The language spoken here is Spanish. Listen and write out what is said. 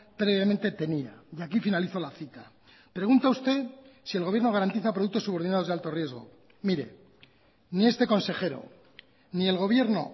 previamente tenía y aquí finalizo la cita pregunta usted si el gobierno garantiza productos subordinados de alto riesgo mire ni este consejero ni el gobierno